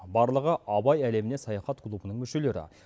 барлығы абай әлеміне саяхат клубының мүшелері